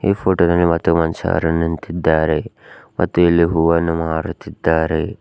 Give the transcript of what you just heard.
ಈ ಫೋಟೋ ದಲ್ಲಿ ಮತ್ತು ಮನುಷಾರು ನಿಂತಿದ್ದಾರೆ ಮತ್ತು ಇಲ್ಲಿ ಹೂವನ್ನು ಮಾರುತ್ತಿದ್ದಾರೆ.